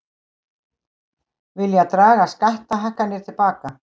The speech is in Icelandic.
Vilja draga skattahækkanir til baka